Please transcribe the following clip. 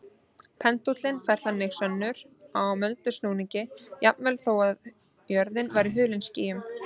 Pendúllinn færir þannig sönnur á möndulsnúninginn jafnvel þó að jörðin væri hulin skýjum.